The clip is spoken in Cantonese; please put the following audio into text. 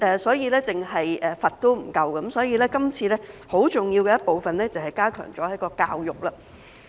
所以，單單刑罰是不足夠的，今次有一個很重要的部分，就是加強了教育。